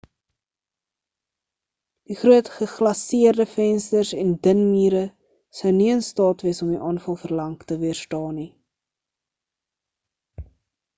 die groot geglaseerde vensters en dun mure sou nie in staat wees om die aanval vir lank te weerstaan nie